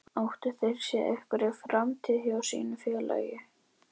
Áttu þeir sér einhverja framtíð hjá sínu félagi?